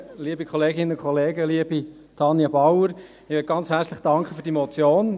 Liebe Tanja Bauer, ich danke ganz herzlich für die Motion.